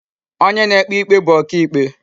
Onye na-ekpe ikpe bu oka ikpe.